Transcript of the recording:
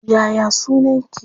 Ya ya sunaki?